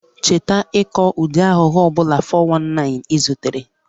Cheta ịkọ ụdị aghụghọ ọ bụla (419) ị zutere